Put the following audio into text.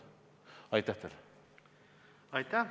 Aitäh!